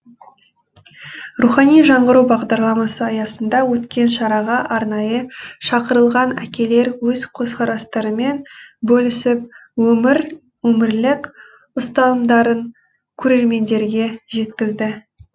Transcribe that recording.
рухани жаңғыру бағдарламасы аясында өткен шараға арнайы шақырылған әкелер өз көзқарастарымен бөлісіп өмірлік ұстанымдарын көрермендерге жеткізді